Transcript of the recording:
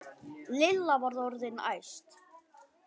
Lilla var orðin æst.